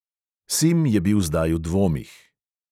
Sim je bil zdaj v dvomih.